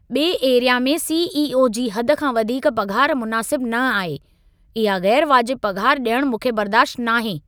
बे एरिया में सी.ई.ओ. जी हद खां वधीक पघारु मुनासिबु न आहे। इहा ग़ैरु वाजिबु पघार ॾियण मूंखे बर्दाश्त न आहे।